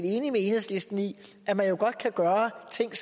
enige med enhedslisten i at man godt kan gøre ting